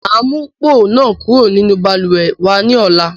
Máa mu póò náà kúrò nínú Balùwẹ́ wa ni ọ̀la